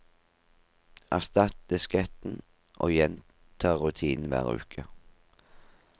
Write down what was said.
Erstatt disketten, og gjenta rutinen hver uke.